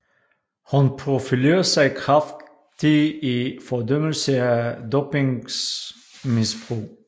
Hun profilerer sig kraftigt i fordømmelse af dopingmisbrug